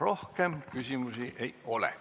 Rohkem küsimusi ei ole.